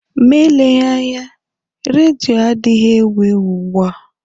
Ma eleghị anya, redio adịghị ewu ewu ugbu a.